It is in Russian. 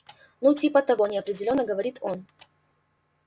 ну типа того неопределённо говорит он